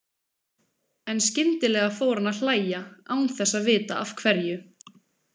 En skyndilega fór hann að hlæja, án þess að vita af hverju.